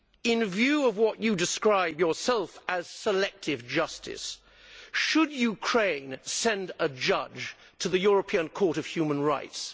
In view of what you describe yourself as selective justice' should Ukraine send a judge to the European Court of Human Rights?